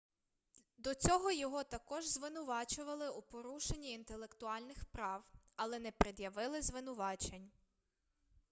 до цього його також звинувачували у порушенні інтелектуальних прав але не пред'явили звинувачень